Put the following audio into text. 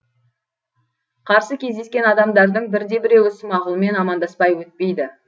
қарсы кездескен адамдардың бір де біреуі смағұлмен амандаспай өтпейді